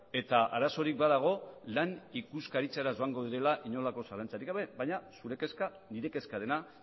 eta arazorik badago lan ikuskaritzara joango direla inongo zalantzarik gabe baina zure kezka nire kezka dela